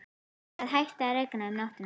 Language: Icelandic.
Það hætti að rigna um nóttina.